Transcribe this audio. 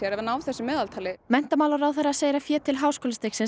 að ná þessum meðaltali menntamálaráðhera segir að fé til háskólastigsins